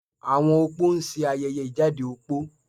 Àwọn opó ń ṣe ayẹyẹ ìjáde opó